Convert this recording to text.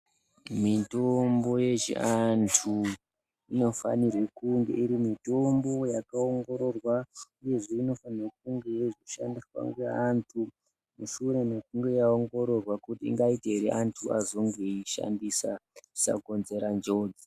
Mitombo yechiantu inofanirwa kunge uri mitombo yakaongororwa uye zvee inofanirwa kunge iri kushandiswa ngeantu mushure mekunge yaongororwa kuti ingaita eree antu azonge eiishandisa isakonzera njodzi